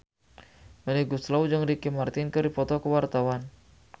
Melly Goeslaw jeung Ricky Martin keur dipoto ku wartawan